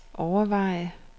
overveje